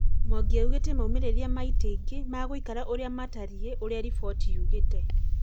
Mwangi augĩte Maumerĩra ma ĩtĩ ungĩ meguikara ũria matarie ũrĩa mbondi yugĩtĩ